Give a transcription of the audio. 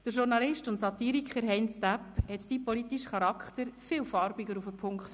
Der Journalist und Satiriker Heinz Däpp brachte deinen politischen Charakter viel farbiger auf den Punkt.